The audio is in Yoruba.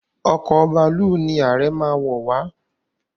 Ọkọ̀ bàálù ní Aree má wọ wá.